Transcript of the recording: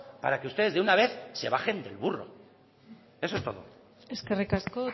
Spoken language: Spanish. para que ustedes de una vez se bajen del burro eso es todo eskerrik asko